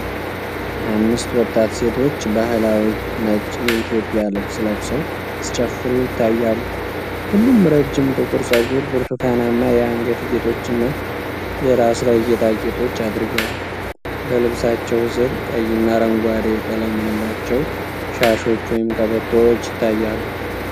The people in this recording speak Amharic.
አምስት ወጣት ሴቶች ባህላዊ ነጭ የኢትዮጵያ ልብስ ለብሰው ሲጨፍሩ ይታያሉ። ሁሉም ረዥም ጥቁር ጸጉር፣ ብርቱካናማ የአንገት ጌጦችና የራስ ላይ ጌጣጌጦች አድርገዋል። በልብሳቸው ስር ቀይና አረንጓዴ ቀለም ያላቸው ሻሾች ወይም ቀበቶዎች ይታያሉ።